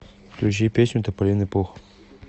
включи песню тополиный пух